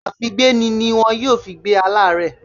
Àfígbéni ni wọ́n yóò fi gbé aláàárẹ̀